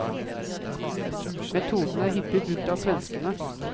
Metoden er hyppig brukt av svenskene.